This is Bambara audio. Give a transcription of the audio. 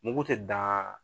Mugu te dan